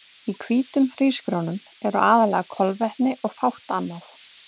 Í hvítum hrísgrjónum eru aðallega kolvetni og fátt annað.